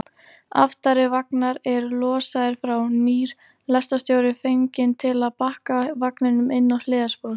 Aftari vagnar eru losaðir frá, nýr lestarstjóri fenginn til að bakka vagninum inn á hliðarspor.